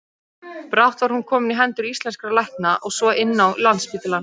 Brátt var hún komin í hendur íslenskra lækna og svo inn á Landspítalann.